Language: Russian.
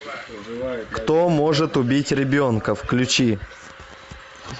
кто может убить ребенка включи